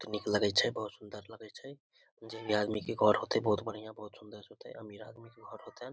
बहुत निक लगे छै बहुत सुंदर लगे छै जेई भी आदमी के घर होते बहुत बढ़िया बहुत सुंदर होते अमीर आदमी के घर होते।